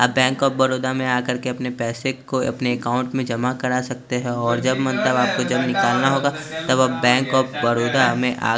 आप bank of Baroda में आकर के अपने पैसे को अपने अकाउंट में जमा करा सकते हैं और जब मन तब आपको जब निकलना होगा तब आप बैंक ऑफ़ बरोदा में आ--